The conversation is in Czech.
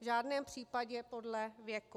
V žádném případě podle věku.